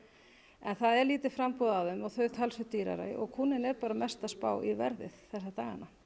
en það er lítið framboð af þeim og þau talsvert dýrari og kúnninn er bara mest að spá í verðið þessa dagana